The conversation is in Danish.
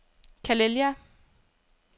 Calella